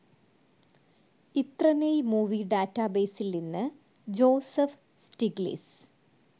ഇത്രനേയ് movie ഡാറ്റാബേസിൽ നിന്നു Joseph Stiglitz